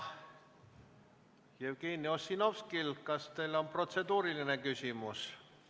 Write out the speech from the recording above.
Jevgeni Ossinovski, kas teil on protseduuriline küsimus?